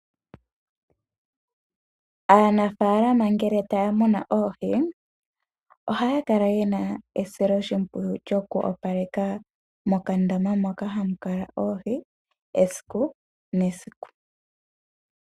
Aanafalama ngele taya muna oohi ohaya kala yena esiloshimpwiyu lyoku opaleka mokandama moka hamu kala oohi esiku nesiku.